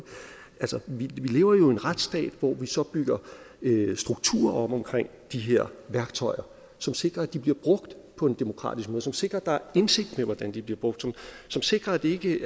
vi lever jo i en retsstat hvor vi så bygger strukturer op omkring de her værktøjer som sikrer at de bliver brugt på en demokratisk måde som sikrer at der er indsigt med hvordan de bliver brugt som sikrer at de